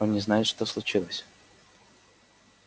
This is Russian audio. он не знает что случилось